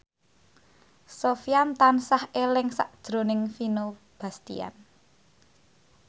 Sofyan tansah eling sakjroning Vino Bastian